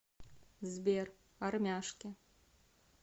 сбер армяшки